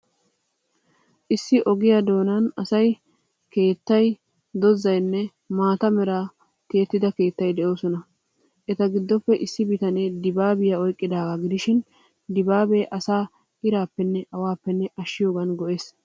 Issi ogiyaa doonan asay, woods keettay, dozaynne maata meraa tiyettida keettay de'oosona. Eta giddoppe issi bitanee dibaabiyaa oyqqidaagaa gidishin, dibaabee asaa iraappenne awaappe ashshiyoogan go''ees.